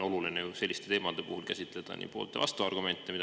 Selliste teemade puhul on tihtipeale oluline käsitleda nii poolt- kui ka vastuargumente.